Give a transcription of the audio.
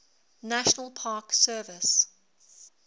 national park service